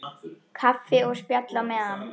Kaffi og spjall á eftir.